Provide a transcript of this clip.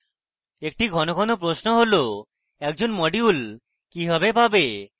একটি one one প্রশ্ন how: একজন module কিভাবে পাবে